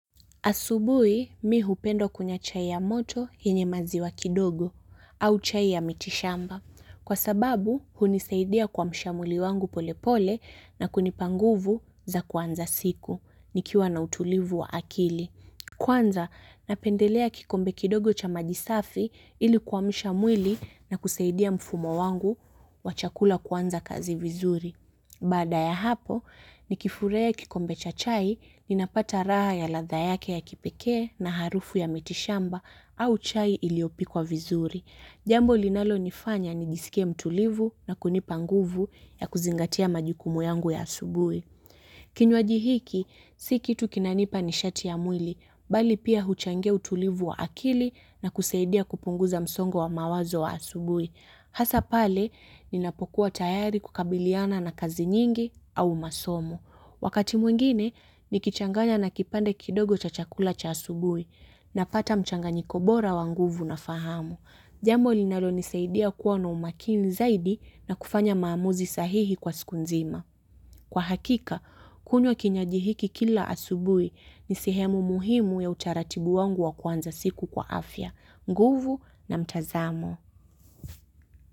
Asubuhi mi hupenda kunywa chai ya moto yenye maziwa kidogo au chai ya miti shamba, kwa sababu hunisaidia kuamsha mwili wangu polepole na kunipa nguvu za kuanza siku nikiwa na utulivu wa akili. Kwanza napendelea kikombe kidogo cha maji safi ili kuamusha mwili na kusaidia mfumo wangu wa chakula kuanza kazi vizuri. Baada ya hapo, nikifurahi kikombe cha chai, napata raha ya ladha yake ya kipekee na harufu ya miti shamba au chai iliyopikwa vizuri. Jambo linalo nifanya nijisikie mtulivu na kunipa nguvu ya kuzingatia majikumu yangu ya asubui. Kinywaji hiki, si kitu kinanipa ni shati ya mwili, bali pia huchangiya utulivu wa akili na kusaidia kupunguza msongo wa mawazo wa asubui. Hasa pale, ninapokuwa tayari kukabiliana na kazi nyingi au masomo. Wakati mwingine, nikichanganya na kipande kidogo cha chakula cha asubuhi. Napata mchanganyiko bora wa nguvu na fahamu. Jambo linalo nisaidiya kuwa na umakini zaidi na kufanya maamuzi sahihi kwa siku nzima. Kwa hakika, kunywa kinywaji hiki kila asubui ni sehemu muhimu ya utaratibu wangu wa kuanza siku kwa afya. Nguvu na mtazamo.